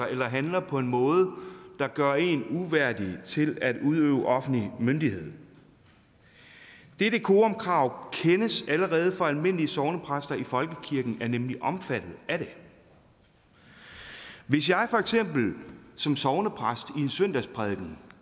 eller handle på en måde der gør en uværdig til at udøve offentlig myndighed det decorumkrav kendes allerede for almindelige sognepræster i folkekirken er nemlig omfattet af det hvis jeg for eksempel som sognepræst i en søndagsprædiken